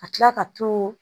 Ka tila ka to